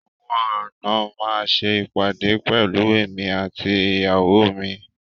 Àwọn àna máa ṣe ìpàdé pẹ̀lú èmi àti ìyàwó mi.